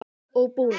og búnað.